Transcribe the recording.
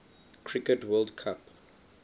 cricket world cup